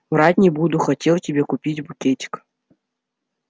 врать не буду хотел тебе купить букетик